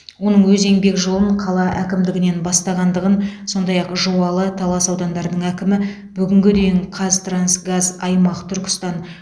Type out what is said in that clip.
оның өз еңбек жолын қала әкімдігінен бастағандығын сондай ақ жуалы талас аудандарының әкімі бүгінге дейін қазтрансгаз аймақ түркістан